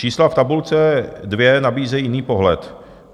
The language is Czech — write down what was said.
Čísla v tabulce dvě nabízejí jiný pohled.